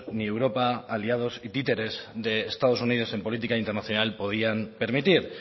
ni europa aliados y títeres de estados unidos en política internacional podían permitir